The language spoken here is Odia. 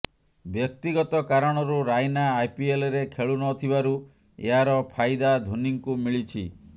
ବ୍ୟକ୍ତିଗତ କାରଣରୁ ରାଇନା ଆଇପିଏଲରେ ଖେଳୁ ନ ଥିବାରୁ ଏହାର ଫାଇଦା ଧୋନୀଙ୍କୁ ମିଳିଛି